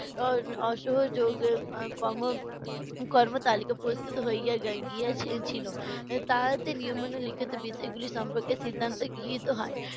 অ~ অসহযোগ কম~ কর্মতালিকা প্রস্তুত হইয়া গা~ গিয়াছে~ গিয়াছিল। লিখিত বিষয়গুলো সম্পর্কে সিদ্ধান্ত গৃহীত হয়।